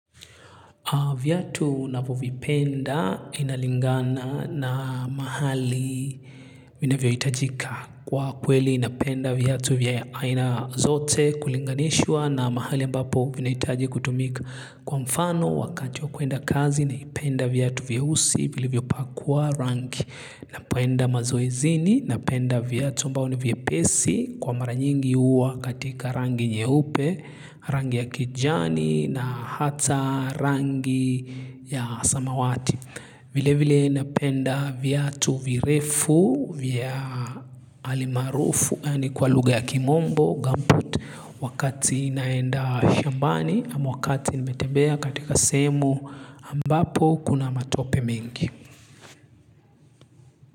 Viatu navyovipenda inalingana na mahali vina vyo hitajika kwa kweli napenda viatu vya aina zote kulinganishwa na mahali ambapo vinahitaji kutumika kwa mfano wakati wa kuenda kazi naipenda viatu vyeusi vilivyopakwa rangi. Napoenda mazoezini, napenda viatu ambayo ni vyepesi kwa mara nyingi huwa katika rangi nyeupe, rangi ya kijani na hata rangi ya samawati. Vile vile napenda viatu virefu, vya alimaarufu, kwa lugha ya kimombo, gumboot, wakati naenda shambani ama wakati nimetembea katika sehemu ambapo kuna matope mingi.